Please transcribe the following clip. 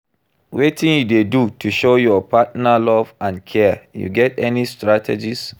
Wetin you dey do to show your partner love and care, you get any strategies?